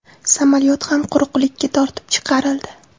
Samolyot ham quruqlikka tortib chiqarildi.